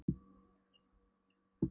Reykjanes og nokkuð af þremur mönnum.